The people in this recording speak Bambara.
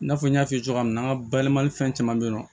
I n'a fɔ n y'a f'i ye cogoya min na n ka bayɛlɛmali fɛn caman be yen nɔ